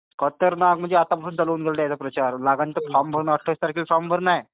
खतरनाक. म्हजे चालू आहे प्रचार आणि अठ्ठावीस तारखेला फोर्म भरणे आहे.